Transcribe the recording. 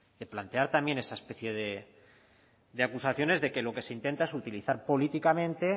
de plantear también esa especie de acusaciones de que lo que se intenta es utilizar políticamente